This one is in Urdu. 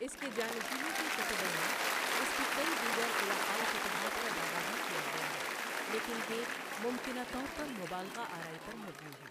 اس کے جانشینوں کے کتبوں میں اس کی کئی دیگر علاقائی فتوحات کا دعویٰ بھی کیا گیا ہے، لیکن یہ ممکنہ طور پر مبالغہ آرائی پر مبنی ہیں۔